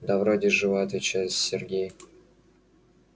да вроде жива отвечает сергей